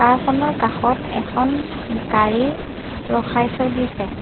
কাৰ খনৰ কাষত এখন গাড়ী ৰখাই থৈ দিছে।